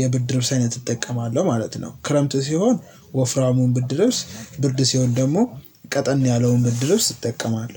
የብርድ ልብስ አይነት እጠቀማለሁ ማለት ነው። ክረምት ሲሆን ወፍራሙን ብርድ ልብስ ብርድ ሲሆን ደግሞ ቀጠን ያለውን ብርድ ልብስ እጠቀማለሁ